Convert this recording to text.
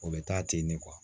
O bɛ taa ten ne